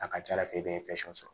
A ka ca ala fɛ i bɛ sɔrɔ